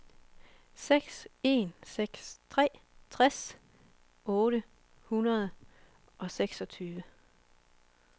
seks en seks tre tres otte hundrede og seksogtyve